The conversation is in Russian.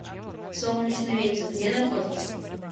солнечный ветер где находится